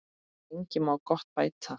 En lengi má gott bæta.